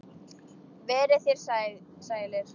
Verið þér sælir.